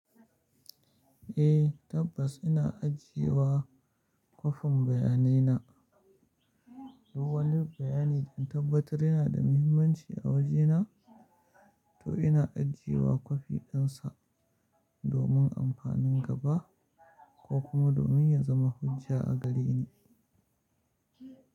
Eh tabbas ina ajiye wa kwafin bayanai na. Duk wani bayani da na tabbatar yana da muhimmanci a wajena to ina ajiye wa kwafi dinsa domin amfanin gaba ko kuma domin ya zama hujja a gareni.